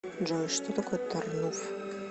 джой что такое тарнув